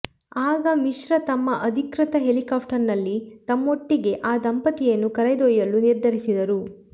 ಆಗ ಮಿಶ್ರಾ ತಮ್ಮ ಅಧಿಕೃತ ಹೆಲಿಕಾಪ್ಟರ್ನಲ್ಲಿ ತಮ್ಮೊಟ್ಟಿಗೇ ಆ ದಂಪತಿಯನ್ನು ಕರೆದೊಯ್ಯಲು ನಿರ್ಧರಿಸಿದರು